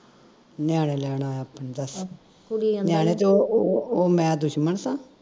ਨਿਆਣੇ ਲੈਣ ਆਇਆ ਆਪਣੇ ਦੱਸ ਨਿਆਣੇ ਤੇ ਉਹ ਉਹ ਮੈਂ ਦੁਸ਼ਮਣ ਸਾਂ